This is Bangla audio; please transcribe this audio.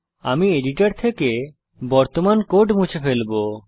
আমি এডিটর থেকে বর্তমান কোড মুছে ফেলবো